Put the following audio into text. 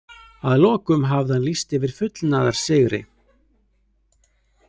Að lokum hafði hann lýst yfir fullnaðarsigri.